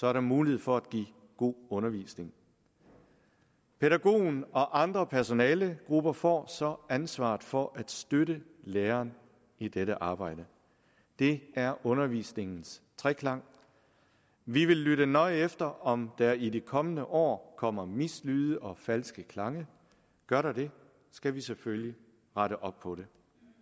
er der mulighed for at give god undervisning pædagogen og andre personalegrupper får så ansvaret for at støtte læreren i dette arbejde det er undervisningens treklang vi vil lytte nøje efter om der i de kommende år kommer mislyde og falske klange gør der det skal vi selvfølgelig rette op på det